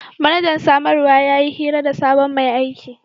Manajan samarwa ya yi hira da sabon mai aiki.